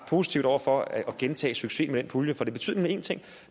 positiv over for at gentage succesen med den pulje for det betyder en ting